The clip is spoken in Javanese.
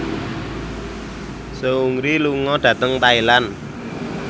Seungri lunga dhateng Thailand